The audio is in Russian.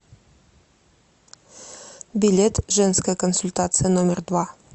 билет женская консультация номер два